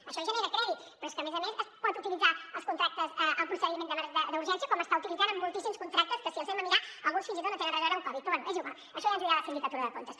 això genera crèdit però és que a més a més pot utilitzar als contractes el procediment d’urgència com està utilitzant amb moltíssims contractes que si els mirem alguns fins i tot no tenen res a veure amb covid però bé és igual això ja ens ho dirà la sindicatura de comptes